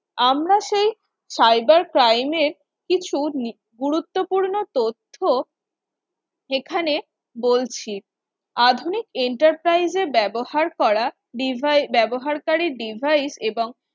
আমরা সেই Cyber crime এর কিছু গুরুত্বপূর্ণ তথ্য এখানে বলছি আধুনিক Enterprise এ ব্যবহার করা Devise ব্যবহারকারী Devise এবং